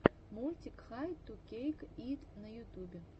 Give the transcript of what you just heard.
мультик хай ту кейк ит на ютубе